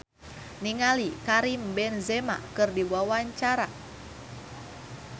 Camelia Malik olohok ningali Karim Benzema keur diwawancara